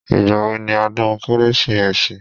Ìgbà wo ni odún kérésìmesì?